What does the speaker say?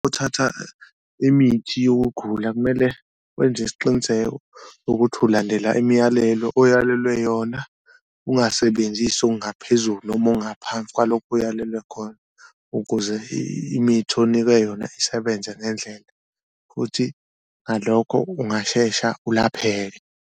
Uthatha imithi yokugula kumele wenze isiqiniseko ukuthi ulandela imiyalelo oyalelwe yona ungasebenzisi ongaphezulu noma ongaphansi kwalokho uyalelwe khona, ukuze imithi onikwe yona isebenze ngendlela futhi ngalokho ungashesha ulapheke.